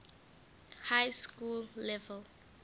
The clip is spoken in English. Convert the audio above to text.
high school level